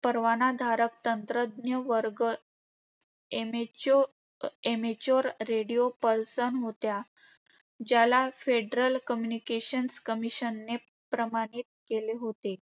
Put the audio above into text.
परवानाधारक तंत्रज्ञ-वर्ग amate~ amateur radio person होत्या, ज्याला फेडरल कम्युनिकेशन्स कमिशनने प्रमाणित केले होते.